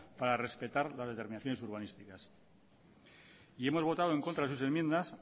para respetar las determinaciones urbanísticas y hemos votado en contra de sus enmiendas